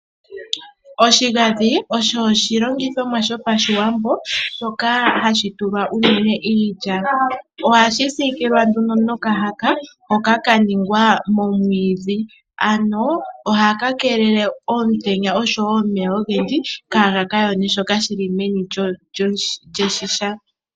Oshigadhi osho oshilongithomwa sho pashiwambo, shoka hashi tulwa uunene iilya. Ohashi siikilwa nduno nomahaka hoka ka ningwa momwiidhi, ano ohaka keelele omutenya oshowo omeya ogendji kaga ka yone shoka shili meni lyoshigadhi.